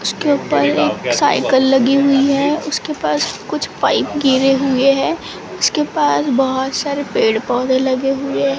उसके ऊपर एक साइकल लगी हुई है उसके पास कुछ पाइप गिरे हुए है उसके पास बहोत सारे पेड़ पौधे लगे हुए--